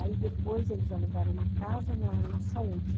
Aí depois eles alugaram uma casa na, na saúde